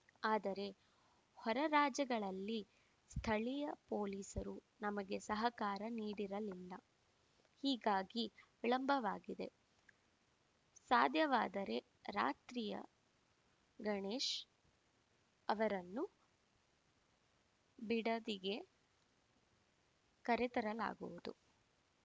ಆದರೆ ಹೊರ ರಾಜ್ಯಗಳಲ್ಲಿ ಸ್ಥಳೀಯ ಪೊಲೀಸರು ನಮಗೆ ಸಹಕಾರ ನೀಡಿರಲಿಲ್ಲ ಹೀಗಾಗಿ ವಿಳಂಬವಾಗಿದೆ ಸಾಧ್ಯವಾದರೆ ರಾತ್ರಿಯ ಗಣೇಶ್‌ ಅವರನ್ನು ಬಿಡದಿಗೆ ಕರೆತರಲಾಗುವುದು